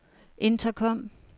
intercom